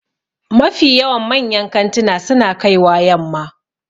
Mafi yawan manyan kantuna su na kaiwa yamma